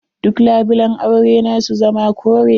Duk labulan aure na su zama kore.